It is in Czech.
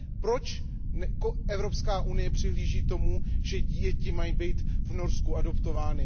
Proč Evropská unie přihlíží tomu, že děti mají být v Norsku adoptovány?